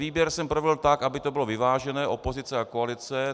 Výběr jsem provedl tak, aby to bylo vyvážené, opozice a koalice.